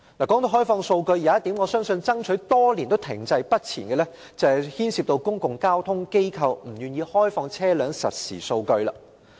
說到開放數據，我們已爭取多年但仍停滯不前的一項要求，是公共交通機構不願意開放的車輛實時數據。